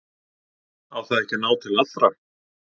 Á það ekki að ná til allra?